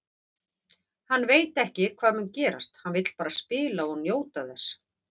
Hann veit ekki hvað mun gerast, hann vill bara spila og njóta þess.